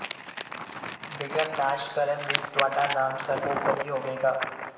ਵਿਘਨ ਨਾਸ਼ ਕਰਨ ਵਿੱਚ ਤੁਹਾਡਾ ਨਾਮ ਸਰਵੋਪਰਿ ਹੋਵੇਗਾ